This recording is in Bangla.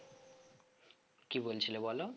কি বলছিলে বলো